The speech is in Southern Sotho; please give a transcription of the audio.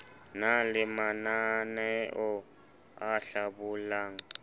na le mananaeo a hlabollang